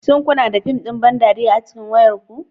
Shin kuna da fim ɗin ban dariya a cikin wayarku